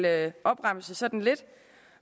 at opremse sådan lidt